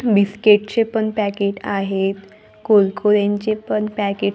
biscuit चे पण packet आहेत कुरकुरेंचे पण पॅकेट --